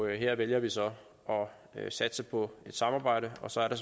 her vælger vi så at satse på et samarbejde og så er der